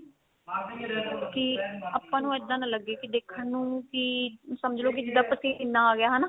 ਕੀ ਆਪਾਂ ਨੂੰ ਇੱਦਾਂ ਨਾ ਲੱਗੇ ਕੀ ਦੇਖਣ ਨੂੰ ਵੀ ਸਮਝ ਲੋ ਕੀ ਜਿੱਦਾਂ ਪਸੀਨਾ ਆ ਗਿਆ ਹਨਾ